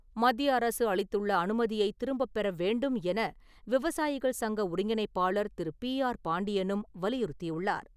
மத்திய அரசு அளித்துள்ள அனுமதியை திரும்பப்பெற வேண்டும் என விவசாயிகள் சங்க ஒருங்கிணைப்பாளர் திரு. பி. ஆர். பாண்டியனும் வலியுறுத்தியுள்ளார்.